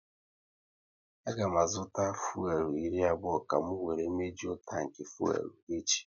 A ga m azụta lita fuelu iri abụọ ka m wéré mejuo tanki fuelu echi